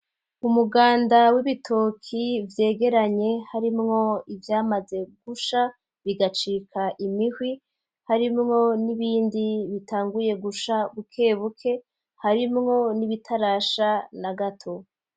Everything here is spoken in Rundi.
Umuganda w'ibitoki vyegeranye harimwo ivyamaze gusha bigacika imihwi, harimwo nibindi bitanguye gusha bukebuke harimwo n'ibitarasha na gato.